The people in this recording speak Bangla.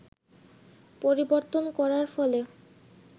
পরিবর্তন করার ফলে